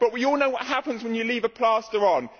But we all know what happens when you leave a plaster